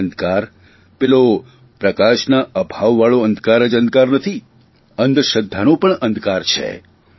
અને અંધકાર પેલો પ્રકાશના અભાવવાળો અંધકાર જ અંધકાર નથી અંધશ્રધ્ધાનો પણ અંધકાર છે